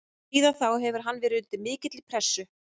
Síðan þá hefur hann verið undir mikilli pressu.